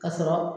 Ka sɔrɔ